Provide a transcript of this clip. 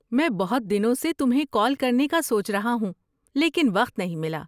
میں بہت دنوں سے تمہیں کال کرنے کا سوچ رہا ہوں لیکن وقت نہیں ملا۔